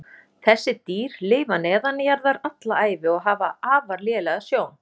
Þessi dýr lifa neðanjarðar alla ævi og hafa afar lélega sjón.